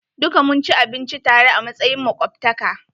Duka mun ci abinci tare a matsayin makwabtaka.